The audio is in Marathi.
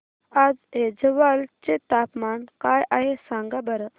आज ऐझवाल चे तापमान काय आहे सांगा बरं